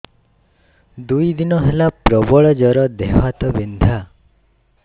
ଦୁଇ ଦିନ ହେଲା ପ୍ରବଳ ଜର ଦେହ ହାତ ବିନ୍ଧା